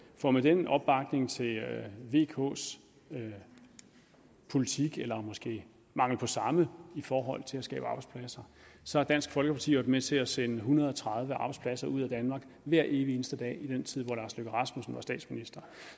for med den opbakning til vks politik eller måske mangel på samme i forhold til at skabe arbejdspladser så har dansk folkeparti jo med til at sende en hundrede og tredive arbejdspladser ud af danmark hver evig eneste dag i den tid hvor herre lars løkke rasmussen var statsminister